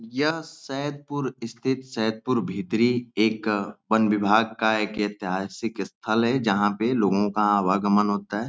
यह सैदपुर स्थित सैदपुर भीतरी एक वन विभाग का एक ऐतिहासिक स्थल है जहाँ पे लोगों का आवागमन होता है।